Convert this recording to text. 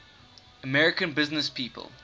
american businesspeople